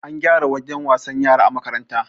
An gyara wajen wasan yara a makaranta